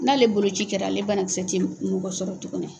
N'ale boloci kɛra ale banakisɛ tɛ mɔgɔ sɔrɔ tuguni.